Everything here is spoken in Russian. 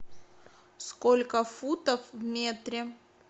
сколько футов в метре